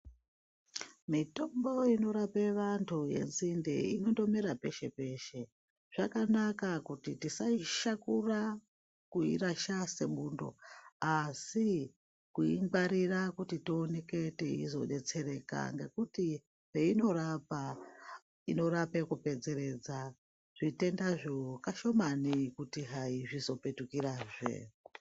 Mitombo inorape vantu ngenzinde inondomera peshe peshe, zvakanaka kuti tisaishakura kuirasha sebundo asi kuingwarira kuti tioneke teizodetsereka ngekuti peinorapa inorape kupedzeredza zvitendazvo kashimani kuti zvizopetukirazve.